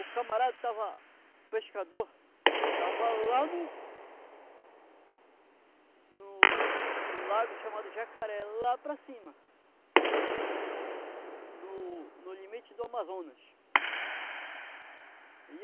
O camarada estava pescador estava lá no no no lago chamado Jacaré, lá para cima, no no limite do Amazonas.